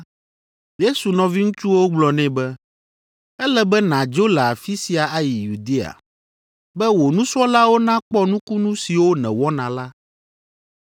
Yesu nɔviŋutsuwo gblɔ nɛ be, “Ele be nàdzo le afi sia ayi Yudea, be wò nusrɔ̃lawo nakpɔ nukunu siwo nèwɔna la.